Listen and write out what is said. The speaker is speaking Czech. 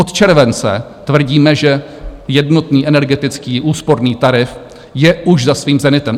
Od července tvrdíme, že jednotný energetický úsporný tarif je už za svým zenitem.